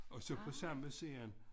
Og så på samme side